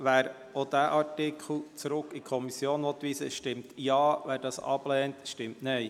Wer auch diesen Artikel an die Kommission zurückweisen will, stimmt Ja, wer dies ablehnt, stimmt Nein.